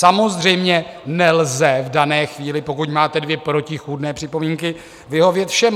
Samozřejmě, nelze v dané chvíli, pokud máte dvě protichůdné připomínky, vyhovět všem.